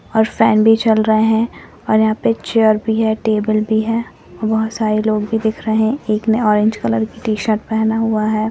और फेन भी चल रहे हैं और यहाँ पे चेयर भी है टेबल भी है बहुत सारे लोग भी दिख रहे हैं एक ने ऑरेंज कलर टी-शर्ट पहना हुआ है।